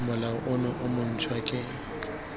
molao ono o montshwa ke